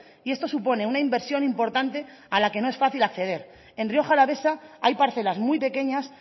y esto supone una inversión importante a la que no es fácil acceder en rioja alavesa hay parcelas muy pequeñas